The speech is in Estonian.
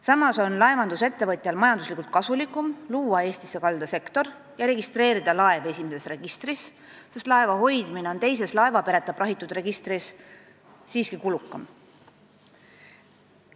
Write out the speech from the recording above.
Samas on laevandusettevõtjal majanduslikult kasulikum luua Eestisse kaldasektori töökohti ja registreerida laev esimeses registris, sest selle hoidmine teises laevapereta prahitud laevade registris on siiski kulukam.